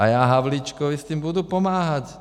A já Havlíčkovi s tím budu pomáhat.